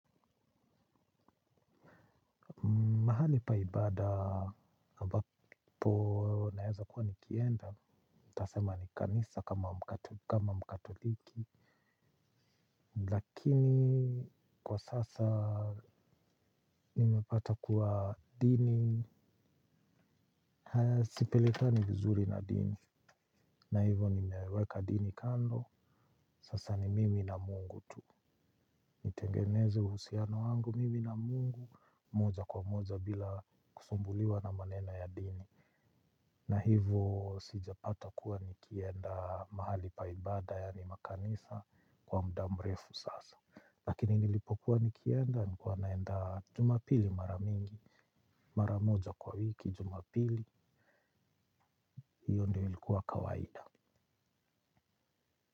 Mahali pa ibada, ambapo naeza kuwa nikienda, nitasema ni kanisa kama mkatoliki, lakini kwa sasa nimepata kuwa dini, sipelikani vizuri na dini, na hivo nimeweka dini kando, sasa ni mimi na mungu tu. Eneza uhusiano wangu mimi na mungu moja kwa moja bila kusumbuliwa na maneno ya dini. Na hivo sijapata kuwa nikienda mahali pa ibada yaani makanisa kwa muda mrefu sasa. Lakini nilipokuwa nikienda nilikuwa naenda jumapili mara mingi. Maramoja kwa wiki jumapili hiyo ndio ilikuwa kawaida.